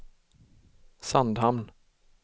Sandhamn